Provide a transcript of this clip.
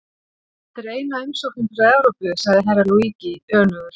En þetta er eina umsóknin frá Evrópu, sagði Herra Luigi önugur.